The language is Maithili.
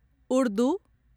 उर्दू